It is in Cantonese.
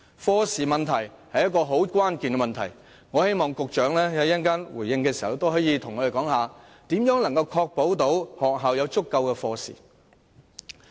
課時問題非常關鍵，我希望局長稍後回應時告訴我們，如何確保學校有足夠的中史科課時。